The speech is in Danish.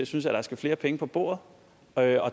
synes at der skal flere penge på bordet og at